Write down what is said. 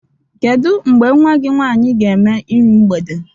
Kedụ mgbe nwa gi nwaanyi ga-eme irụ mgbede?